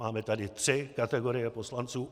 Máme tady tři kategorie poslanců.